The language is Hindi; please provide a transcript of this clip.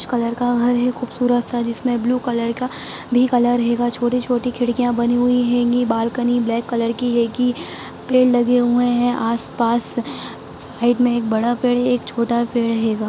कलर का घर है खूबसूरत सा जिसमे ब्लू कलर का भी कलर हैगा छोटी-छोटी खिड़कियां बनी हुई हैंगी बालकनी ब्लैक कलर की हैगी। पेड़ लगे हुए है आस-पास साइड में एक बड़ा पेड़ है एक छोटा पेड़ हैगा।